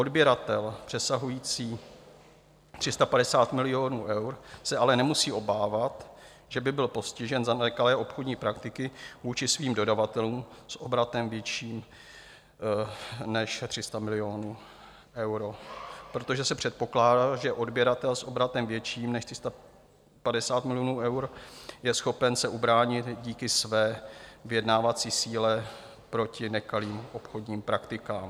Odběratel přesahující 350 milionů eur se ale nemusí obávat, že by byl postižen za nekalé obchodní praktiky vůči svým dodavatelům s obratem vyšším než 300 milionů eur, protože se předpokládá, že odběratel s obratem větším než 350 milionů eur je schopen se ubránit díky své vyjednávací síle proti nekalým obchodním praktikám.